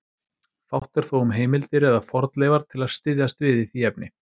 Fátt er þó um heimildir eða fornleifar til að styðjast við í því efni.